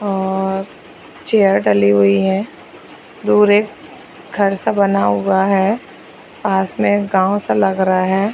are chair डली हुई है दूर एक घर -सा बना हुआ है पास में एक गाँव -सा लग रहा हैं |